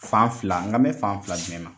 Fan fila n kanbɛ mɛn fan fila jumɛn ma?